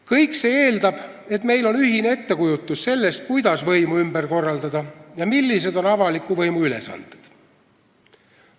" Kõik see eeldab, et meil on ühine ettekujutus sellest, kuidas võimu ümber korraldada ja millised on avaliku võimu ülesanded.